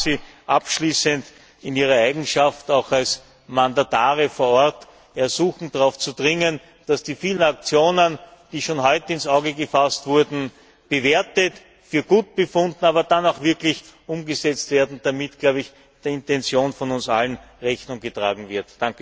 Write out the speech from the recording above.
Ich darf Sie abschließend in ihrer Eigenschaft als Mandatare vor Ort ersuchen, darauf zu dringen, dass die vielen Aktionen, die schon heute ins Auge gefasst wurden, bewertet, für gut befunden, aber dann auch wirklich umgesetzt werden, damit der Intention von uns allen Rechnung getragen wird.